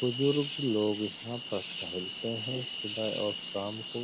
बुज़ुर्ग लोग यहाँ पर टहलते हैं सुबह और शाम को।